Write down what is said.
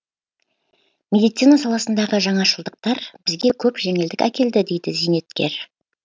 медицина саласындағы жаңашылдықтар бізге көп жеңілдік әкелді дейді зейнеткер